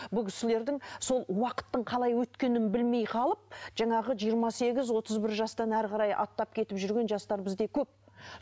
бұл кісілердің сол уақыттың қалай өткенін білмей қалып жаңағы жиырма сегіз отыз бір жастан әрі қарай аттап кетіп жүрген жастар бізде көп